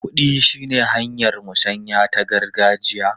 Kuɗi shine hanyar musanya ta gargajiya.